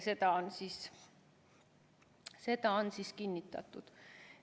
Seda on kinnitatud.